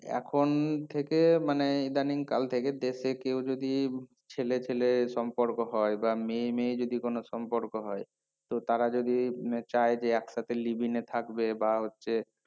এখন থেকে মানে ইদানিং কাল থেকে দেশে কেউ যদি ছেলে ছেলে সম্পর্ক হয় বা মেয়ে মেয়ে যদি কোনো সম্পর্ক হয় তো তারা যদি উম চায় যে একসাথে live in এ থাকবে বা হচ্ছে